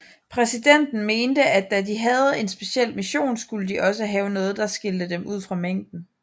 Præsidenten mente at da de havde en speciel mission skulle de også have noget der skilte dem ud fra mængden